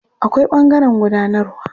Akwai ɓangaren gudanarwa.